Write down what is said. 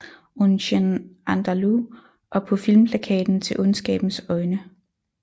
Un Chien Andalou og på filmplakaten til Ondskabens øjne